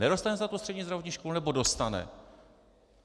Nedostane se na střední zdravotní školu, nebo dostane?